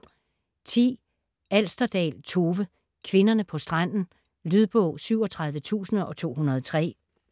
Alsterdal, Tove: Kvinderne på stranden Lydbog 37203